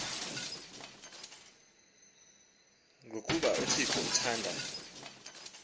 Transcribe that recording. ngokuba uthixo uthanda